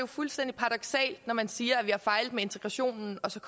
fuldstændig paradoksalt når man siger at vi har fejlet med integrationen så